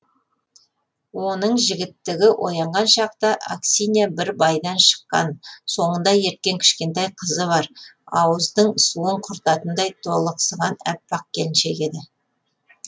оның жігіттігі оянған шақта аксинья бір байдан шыққан соңында ерткен кішкентай қызы бар ауыздың суын құртатындай толықсыған әппақ келіншек еді